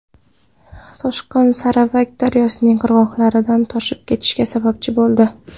Toshqin Saravak daryosining qirg‘oqlaridan toshib ketishiga sababchi bo‘ldi.